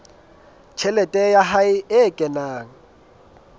tjhelete ya hae e kenang